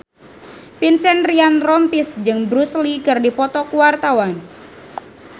Vincent Ryan Rompies jeung Bruce Lee keur dipoto ku wartawan